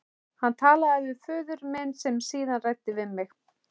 Hann talaði við föður minn sem síðan ræddi við mig.